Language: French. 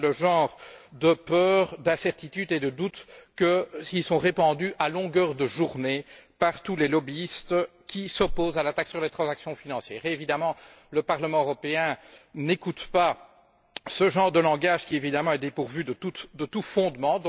Voilà le genre de peurs, d'incertitudes et de doutes qui sont répandus à longueur de journée par tous les lobbyistes qui s'opposent à la taxe sur les transactions financières. Évidemment, le Parlement européen n'écoute pas ce genre de langage qui, bien sûr, est dépourvu de tout fondement.